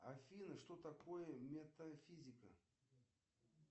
афина что такое метафизика